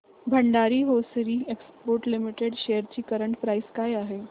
Bhandari hosiery exports limited shares ची current price काय आहे